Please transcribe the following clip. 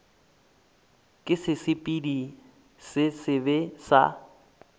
ke sesepediši se sebe sa